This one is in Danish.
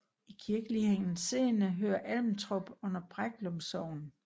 I kirkelig henseende hører Almtrup under Breklum Sogn